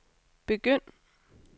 begynd